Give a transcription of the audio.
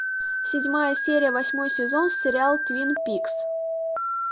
седьмая серия восьмой сезон сериал твин пикс